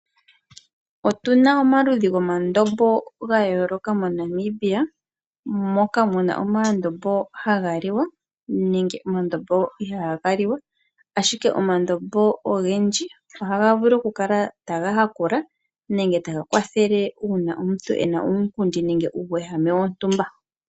Otu na omaludhi gomandombo ga yooloka moNamibia, moka mu na omandombo ha ga liwa, naangoka ihaa ga liwa, ashike omandombo ogendji oha ga vulu oku kala taga hakula, nenge ta ga kwathele uuna omuntu ena uunkundi nenge uuwehame wo ntumba.